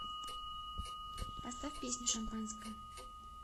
поставь песню шампанское